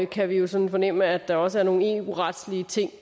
kan vi jo sådan fornemme at der også er nogle eu retslige ting